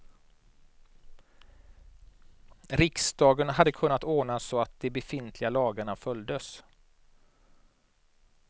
Riksdagen hade kunnat ordna så att de befintliga lagarna följdes.